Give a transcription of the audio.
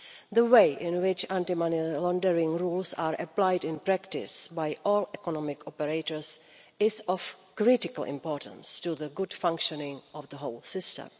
The way in which anti money laundering rules are applied in practice by all economic operators is of critical importance to the good functioning of the whole system.